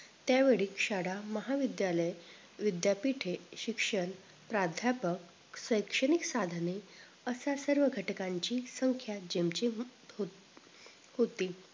त्यावेळी शाळा, महाविद्यालय, विद्यापीठे, शिक्षण प्राध्यापक, शैक्षणिक साधने अशा सर्व घटकांची संख्या जेमतेम हो होती